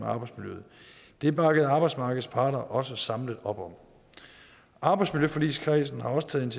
arbejdsmiljøet det bakkede arbejdsmarkedets parter også samlet op om arbejdsmiljøforligskredsen har også taget